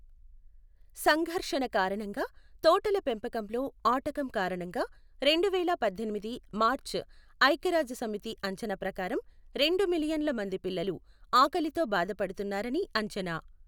సంఘర్షణ కారణంగా తోటల పెంపకంలో ఆటకం కారణంగా రెండువేల పద్దెనిమిది మార్చి ఐక్య రాజ్యసమితి అంచనా ప్రకారం రెండు మిలియన్ల మంది పిల్లలు ఆకలితో బాధపడుతున్నారని అంచనా.